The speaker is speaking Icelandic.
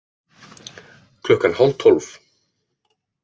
Klukkan hálf tólf